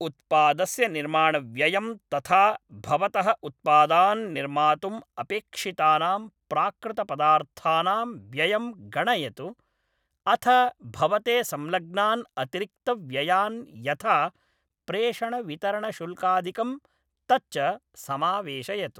उत्पादस्य निर्माणव्ययं तथा भवतः उत्पादान् निर्मातुम् अपेक्षितानां प्राकृतपदार्थानां व्ययं गणयतु अथ भवते संलग्नान् अतिरिक्तव्ययान् यथा प्रेषणवितरणशुल्कादिकं तच्च समावेशयतु।